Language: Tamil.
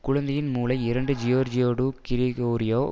குழந்தையின் மூளை இரண்டு ஜியோர்ஜியோ டு கிரிகோரியோ